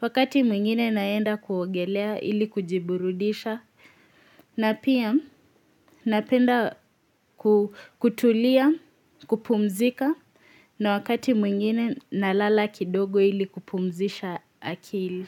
Wakati mwingine naenda kuogelea ili kujiburudisha. Hhh nh na pia napenda kutulia kupumzika na wakati mwingine na lala kidogo ili kupumzisha akili.